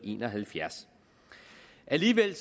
en og halvfjerds alligevel